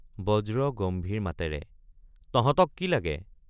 বজ্ৰ গম্ভীৰ মাতেৰে তহঁতক কি লাগে।